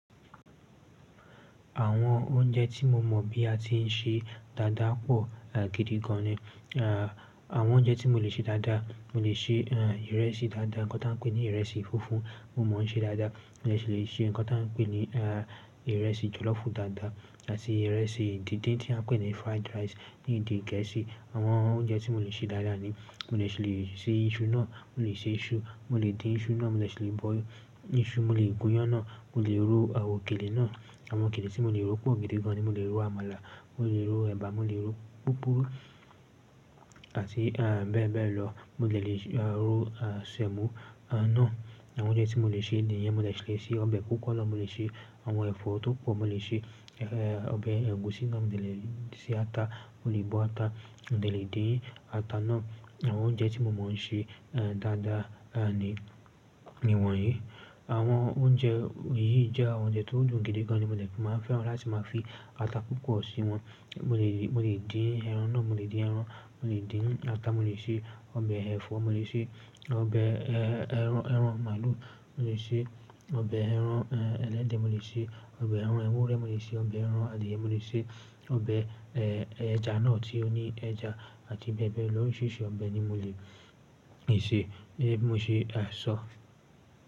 Àwọn oúnjẹ tí mo mọ̀ bí a ti ń ṣe dáadáa pọ̀ gidi gan ni. Àwọn oúnjẹ tí mo lè ṣe dáadáa, mo lè ṣe, a, ìrẹsì dáadáa, nǹkan tí a ń pè ní ìrẹsì funfun, mo mọ̀ ọ́n ṣe dáadáa. Mo dẹ̀ ṣi lè ṣe nǹkan tí a ń pè ní, a, ìrẹsì jọ̀lọ́fù dáadáa àti ìrẹsì dídín tí a ń pè ní fried rice ní ìdí gẹẹsì. Àwọn oúnjẹ tí mo lè ṣe dáadáa ni. Mo dẹ̀ ṣi lè ṣe iṣu náà, mo lè ṣe iṣu, mo lè dín iṣu náà, mo lè ṣe lè boil iṣu, mo lè gúnyán náà, mo lè ro àwọn òkèlè náà. Àwọn òkèlè tí mo lè ro pọ̀ gidi gan ni. Mo lè ro àmàlà, mo lè ro ẹ̀bà, mo lè ro púpurú àti, e, bẹ́ẹ̀ bẹ́ẹ̀ lọ. Mo lè lè ro, a, semo, a, náà. Àwọn oúnjẹ tí mo lè ṣe ni niyẹn, mo dẹ̀ ṣi lè ṣe ọbẹ̀ púpọ̀ lọ. Mo lè ṣe àwọn ẹ̀fọ́ tó pọ̀. Mo lè ṣe, e, ọbẹ̀ ẹ̀gúsí náà. Mo dẹ̀ lè ṣe ata, mo lè bọ ata, mo dẹ̀ lè dín ata náà. Àwọn oúnjẹ tí mo mọ̀ ọ́n ṣe, e, dáadáa, a, ni ni wọ̀nyí. Àwọn oúnjẹ yìí jẹ́ àwọn oúnjẹ tó dùn gidi gan ni. Mo dẹ tún fẹ́ran láti máa fi ata púpọ̀ sí wọn. Mo lè mo lè dín ẹran náà, mo lè dín ẹran, mo lè dín ata, mo lè ṣe ọbẹ̀ ẹ̀fọ́, mo lè ṣe ọbẹ̀, e, ẹran, ẹran màlúù. Mo lè ṣe ọbẹ̀ ẹran, e, ẹlẹ́dẹ̀, mo lè ṣe ọbẹ̀ ẹran ewúrẹ́, mo lè ṣe ọbẹ̀ ẹran adìẹ, mo lè ṣe ọbẹ̀, e, ẹja náà tí ó ní ẹja àti bẹ́ẹ̀ bẹ́ẹ̀ lọ. Orisirisi ọbẹ̀ ni mo lè ṣe. Gẹ̀gẹ̀ bi mo ṣe, a, ṣọ́.